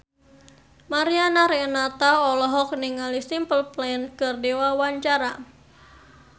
Mariana Renata olohok ningali Simple Plan keur diwawancara